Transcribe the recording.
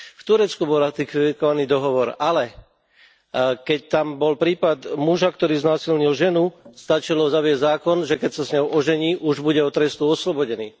V Turecku bol ratifikovaný dohovor, ale keď tam bol prípad muža, ktorý znásilnil ženu, stačilo zaviesť zákon, že keď sa s ňou ožení, už bude od trestu oslobodený.